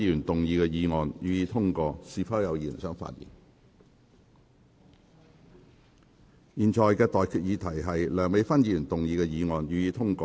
我現在向各位提出的待決議題是：梁美芬議員動議的議案，予以通過。